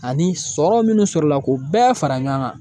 Ani sɔrɔ minnu sɔrɔla k'u bɛɛ fara ɲɔan ŋan.